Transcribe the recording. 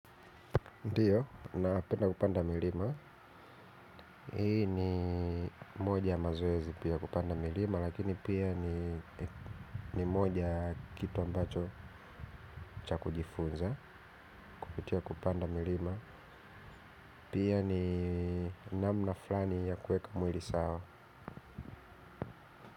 Ndiyo, na penda kupanda milima, hii ni moja ya mazoezi pia kupanda milima, lakini pia ni moja kitu ambacho cha kujifunza, kupitia kupanda milima, pia ni namna flani ya kueka mwili sawa.